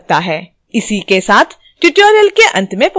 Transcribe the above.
इसी के साथ tutorial के अंत में पहुँचते हैं